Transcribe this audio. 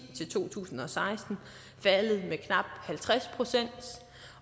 til to tusind og seksten faldet med knap halvtreds procent